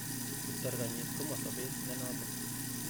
Kiptarng'anyit komosobet nenoton.